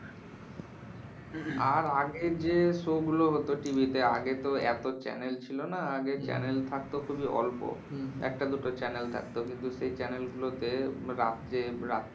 আর আগে যে show গুলো হতো TV তে, আগে তো এত channel ছিল না। আগে channel থাকতো খুবই অল্প। একটা দুটো channel থাকতো। কিন্তু সেই channel গুলো তে রাত্রে রাত্রে